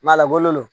a labalo lo